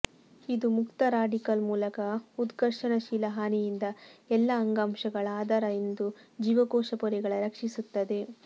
ಇದು ಮುಕ್ತ ರಾಡಿಕಲ್ ಮೂಲಕ ಉತ್ಕರ್ಷಣಶೀಲ ಹಾನಿಯಿಂದ ಎಲ್ಲಾ ಅಂಗಾಂಶಗಳ ಆಧಾರದ ಎಂದು ಜೀವಕೋಶ ಪೊರೆಗಳ ರಕ್ಷಿಸುತ್ತದೆ